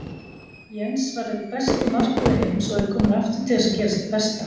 Jens var einn besti markvörður heims og er kominn aftur til að gera sitt besta.